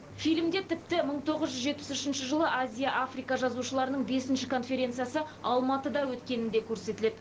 фильмде тіпті мың тоғыз жүз жетпіс үшінші жылы азия африка жазушыларының бесінші конференциясы алматыда өткені де көрсетіледі